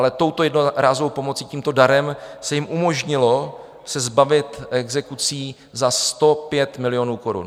Ale touto jednorázovou pomocí, tímto darem se jim umožnilo se zbavit exekucí za 105 milionů korun.